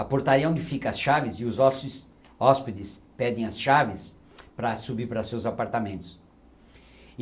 A portaria é onde ficam as chaves e os hós hóspedes pedem as chaves para subir para seus apartamentos.